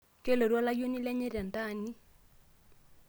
kelotu olayioni lenye tentaani